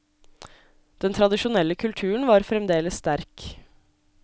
Den tradisjonelle kulturen var fremdeles sterk.